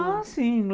Ah, sim.